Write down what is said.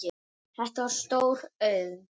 Þetta var stór auðn.